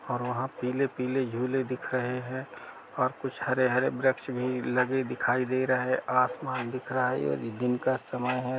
और वहां पीले-पीले झूले दिख रहे हैं और कुछ हरे हरे वृक्ष भी लगे दिखाई दे रहे हैं आसमान दिख रहा है दिन का समय है।